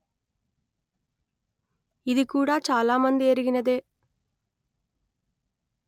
ఇది కూడా చాలా మంది ఎరిగినదే